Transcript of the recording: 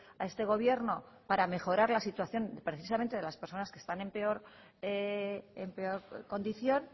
a este gobierno para mejorar la situación precisamente de las personas que están en peor condición